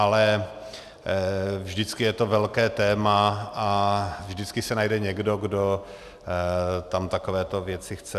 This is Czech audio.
Ale vždycky je to velké téma a vždycky se najde někdo, kdo tam takovéto věci chce.